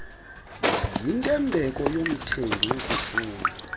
yintembeko yomthengi ukufuna